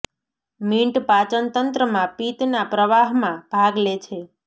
mint પાચન તંત્રમાં પિત્ત ના પ્રવાહમાં ભાગ લે છે